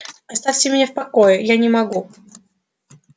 оставьте меня в покое я не могу